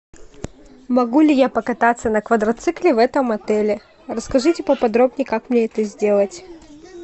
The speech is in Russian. могу ли я покататься на квадроцикле в этом отеле расскажите поподробнее как мне это сделать